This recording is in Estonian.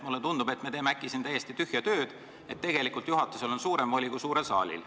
Mulle tundub, et me teeme äkki siin täiesti tühja tööd, tegelikult on juhatusel suurem voli kui suurel saalil.